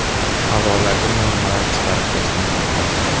Havolaki normalar chiqarib tashlanmoqda.